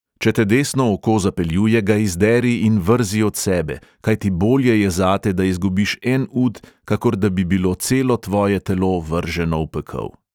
"Če te desno oko zapeljuje, ga izderi in vrzi od sebe; kajti bolje je zate, da izgubiš en ud, kakor da bi bilo celo tvoje telo vrženo v pekel."